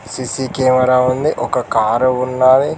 CC camera ఉంది ఒక car ఉన్నది.